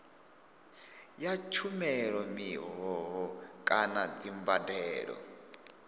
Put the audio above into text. ya tshumelo mihoho kana dzimbadelo